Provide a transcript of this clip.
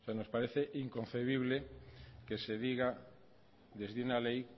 nos parece inconcebible que se diga desde una ley